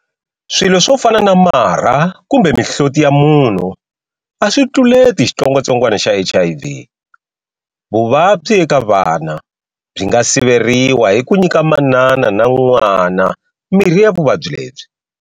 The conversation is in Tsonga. Swilo swo fana na marha kumbe mihloti ya munhu aswi tluleti xitsongwatsongwana xa HIV. Vuvabyi eka vana byi nga siveriwa hi ku nyika manana na n'wana mirhi ya vuvabyi lebyi.